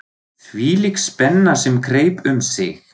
Þvílík spenna sem greip um sig!